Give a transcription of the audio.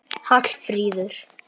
Hallfríður